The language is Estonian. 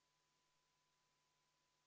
Kas Riigikogu liikmetel on küsimusi hääletamise kohta?